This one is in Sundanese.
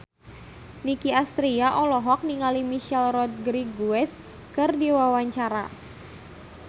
Nicky Astria olohok ningali Michelle Rodriguez keur diwawancara